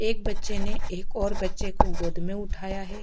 एक बच्चे ने एक और बच्चे को गोद में उठाया है।